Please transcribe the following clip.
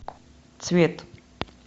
цвет